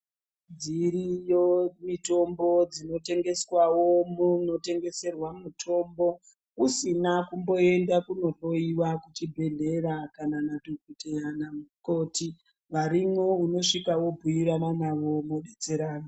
Dziriyo mitombo dzinotengeswawo munotengeserwa mutombo usina kumboenda kohloiwa kuchibhedhleya kana nadhokotera kana mukoti varimwo unosvika wobhuirana navo mwopedzerana.